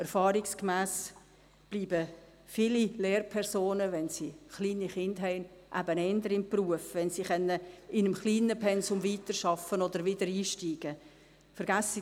Erfahrungsgemäss bleiben viele Lehrpersonen, wenn sie kleine Kinder haben, eben eher im Beruf, wenn sie in einem kleinen Pensum weiterarbeiten oder wiedereinsteigen können.